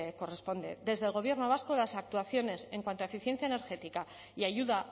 corresponde desde el gobierno vasco las actuaciones en cuanto a eficiencia energética y ayuda